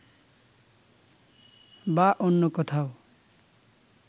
বা অন্য কোথাও